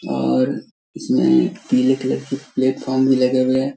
और इसमें नीले कलर की प्लेटफोर्म भी लगे हुए हैं।